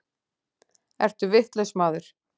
Ertu vitlaus maður?